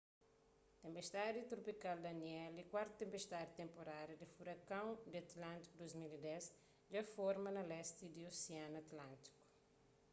tenpestadi tropikal danielle kuartu tenpestadi di tenporada di furakon di atlántiku di 2010 dja forma na lesti di osianu atlántiku